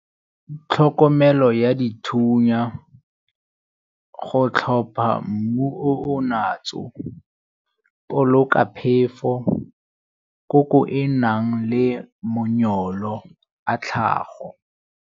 Tlhokomelo ya dithunya, go tlhopha mmu o o natso, boloka phefo, koko e nang le a tlhago.